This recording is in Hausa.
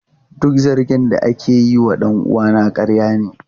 Duk zargin da ake yi wa dan uwana ƙarya ne.